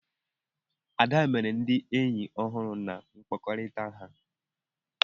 Ada mere ndị enyi ọhụrụ na mkpakọrịta ha.